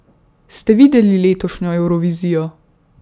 Ste videli letošnjo Evrovizijo?